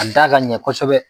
Ka da ka ɲɛ kosɛbɛ.